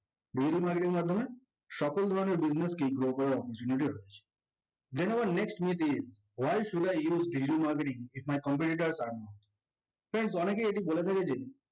digital marketing এর মাধ্যমে সকল ধরণের business কেই grow করার opportunity আছে। then our next myth is why should i use digital marketing as my competitor or not friends অনেকেই এটা বলে থাকে যে